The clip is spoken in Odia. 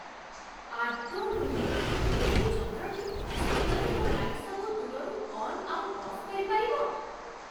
ଆଦୌ ନୁହେଁ! ଏହି ଯନ୍ତ୍ରଟି ସତରେ ମୋ ଲାଇଟ୍‌ସ୍‌ସବୁ ଦୂରରୁ ଅନ୍ ଆଉ ଅଫ୍ କରିପାରିବ?